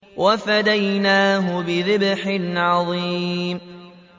وَفَدَيْنَاهُ بِذِبْحٍ عَظِيمٍ